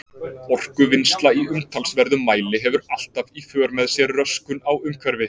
Orkuvinnsla í umtalsverðum mæli hefur alltaf í för með sér röskun á umhverfi.